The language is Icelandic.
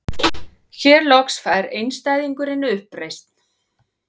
Hér loks fær einstæðingurinn uppreisn.